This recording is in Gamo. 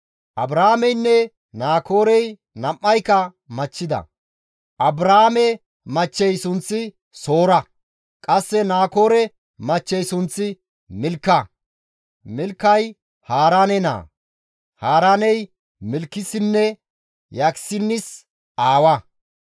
Abraameynne Naakoorey nam7ayka machchida; Abraame machchey sunththi Soora; qasse Naakoore machchey sunththi Milka; Milkay Haaraane naa; Haaraaney Milkissinne Yiskaanissi aawa.